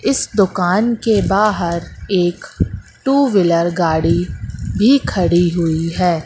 इस दुकान के बाहर एक टू व्हीलर गाड़ी भी खड़ी हुई है।